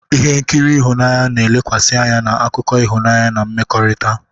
Ihe nkiri ịhụnanya na-elekwasị anya na akụkọ ịhụnanya na mmekọrịta.